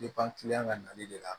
ka nali de la